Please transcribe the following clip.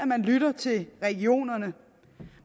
man lytter til regionerne